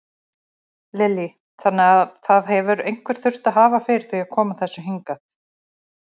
Lillý: Þannig að það hefur einhver þurft að hafa fyrir því að koma þessu hingað?